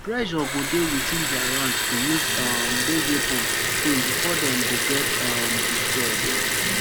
pressure go dey within dia ranks to use um dose weapons soon bifor dem go get um destroyed